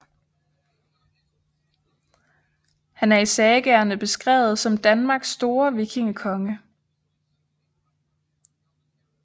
Han er i sagaerne beskrevet som Danmarks store vikingekonge